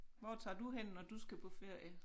Hvor tager du hen når du skal på ferie?